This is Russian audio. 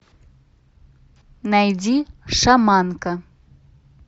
найди шаманка